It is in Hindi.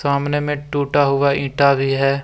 सामने में टूटा हुआ ईटा भी है।